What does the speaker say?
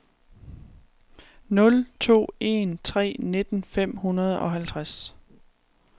nul to en tre nitten fem hundrede og halvtreds